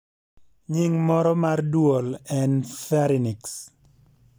Nying moro mar duol en pharynx